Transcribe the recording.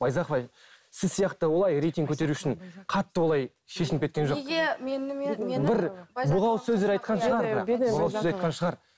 байзақова сіз сияқты олай рейтинг көтеру үшін қатты олай шешініп кеткен жоқ